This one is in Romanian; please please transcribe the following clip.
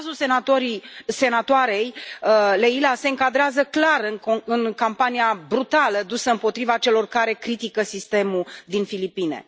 Cazul senatoarei Leila se încadrează clar în campania brutală dusă împotriva celor care critică sistemul din Filipine.